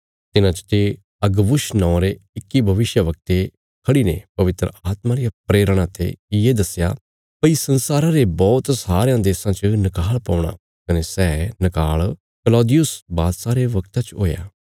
तिन्हां चते अगबुस नौआं रे इक्की भविष्यवक्ते खड़ीने पवित्र आत्मा रिया प्रेरणा ते ये दस्या भई संसारा रे बौहत सारयां देशां च नकाल़ पौणा कने सै नकाल़ कलौदियुस बादशाह रे बगता च हुया